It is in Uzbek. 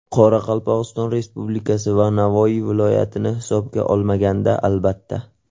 Qoraqalpog‘iston Respublikasi va Navoiy viloyatini hisobga olmaganda, albatta.